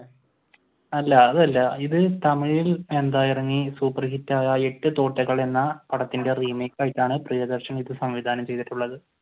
അല്ല അത് അല്ല ഇത് തമിഴിൽ ഇറങ്ങി സൂപ്പർ ഹിറ്റ് ആയിട്ട് തോട്ടകൾ എന്ന പടത്തിന്റെ remake ആയിട്ടാണ് പ്രിയദർശൻ ഇത് സംവിധാനം ചെയ്തിട്ടുള്ളത്.